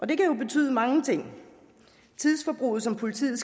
det kan jo betyde mange ting tidsforbruget som politiet